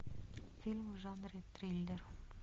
фильмы в жанре триллер